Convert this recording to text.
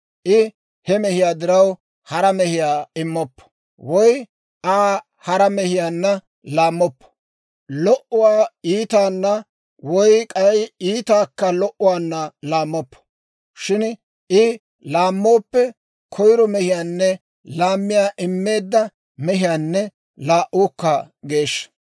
I he mehiyaa diraw hara mehiyaa immoppo; woy Aa hara mehiyaanna laammoppo. Lo"uwaa iitaanna woy k'ay iitaakka lo"uwaanna laammoppo; shin I laammooppe, koyiro mehiinne laamiyaa immeedda mehii laa"uukka geeshsha.